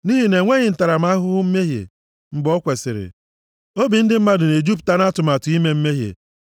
Nʼihi na e nyeghị ntaramahụhụ mmehie mgbe o kwesiri, obi ndị mmadụ na-ejupụta nʼatụmatụ ime mmehie.